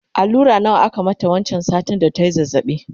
allura nawa aka mata wancan satin da tayi zazzabi?